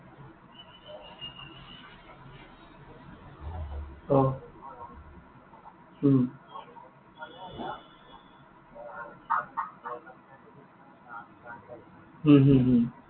অ উম উম হম হম